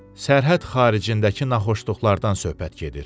Sərhəd xaricindəki naxoşluqlardan söhbət gedir.